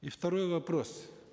и второй вопрос